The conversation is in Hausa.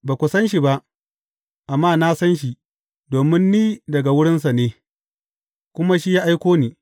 Ba ku san shi ba, amma na san shi, domin ni daga wurinsa ne, kuma shi ya aiko ni.